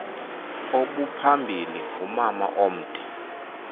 obuphambili ngumgama omde